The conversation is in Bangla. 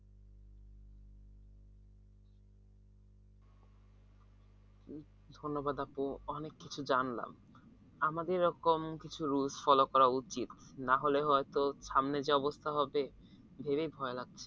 ধন্যবাদ আপু অনেক কিছু জানলাম আমাদের এরকম কিছু rules follow করা উচিত নাহলে হয়তো সামনে যে অবস্থা হবে ভেবেই ভয় লাগছে